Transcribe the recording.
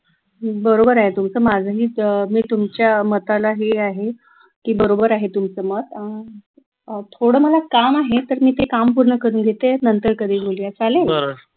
बरोबर आहे तुमचं माझं मी मी तुमच्या मताला हे आहे की बरोबर आहे तुमचं मत अह थोडं मला काम आहे तर मी ते काम पूर्ण करून घेते नंतर मग नंतर करेल मी चालेल